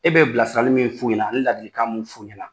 E bɛ bilasirali min f'u ɲɛna ani ladikan mun f'u ɲɛna